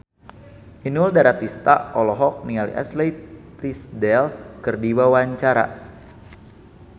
Inul Daratista olohok ningali Ashley Tisdale keur diwawancara